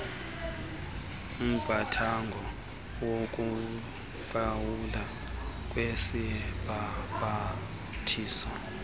umqathango wokuqhawulwa kwesibhambathiso